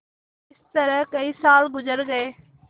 इस तरह कई साल गुजर गये